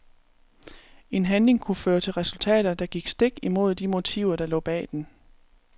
En handling kunne føre til resultater, der gik stik imod de motiver der lå bag den.